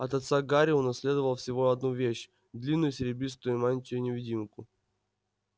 от отца гарри унаследовал всего одну вещь длинную серебристую мантию-невидимку